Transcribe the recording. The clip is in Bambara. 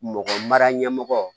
Mɔgɔ mara ɲɛmɔgɔ